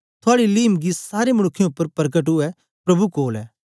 थुआड़ी लींमगी सारें मनुक्खें उपर परकट उवै प्रभु कोल ऐ